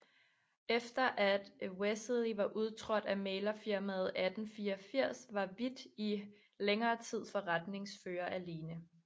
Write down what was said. Efter at Wessely var udtrådt af mæglerfirmaet 1834 var Hvidt i længere tid forretningsfører alene